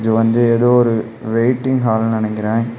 இது வந்து ஏதோ ஒரு வெயிட்டிங் ஹால்னு நெனைக்கிற.